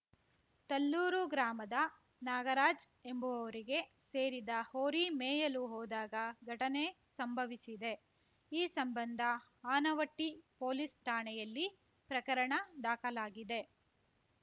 ತಲ್ಲೂರು ಗ್ರಾಮದ ನಾಗರಾಜ್‌ ಎಂಬುವವರಿಗೆ ಸೇರಿದ ಹೋರಿ ಮೇಯಲು ಹೋದಾಗ ಘಟನೆ ಸಂಭವಿಸಿದೆ ಈ ಸಂಬಂಧ ಆನವಟ್ಟಿಪೊಲೀಸ್‌ ಠಾಣೆಯಲ್ಲಿ ಪ್ರಕರಣ ದಾಖಲಾಗಿದೆ